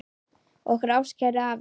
Okkar ástkæri afi.